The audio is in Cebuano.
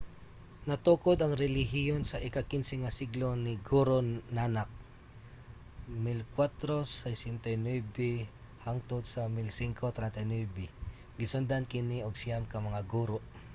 natukod ang relihiyon sa ika-15 nga siglo ni guru nanak 1469–1539. gisundan kini og siyam ka mga guru